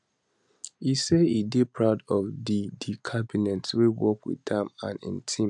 e say e dey proud of di di cabinet wey work wit am and im team